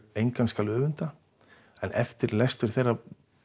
engan skal öfunda en eftir lestur þeirra